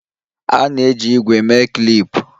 A na-eji ígwè mee klip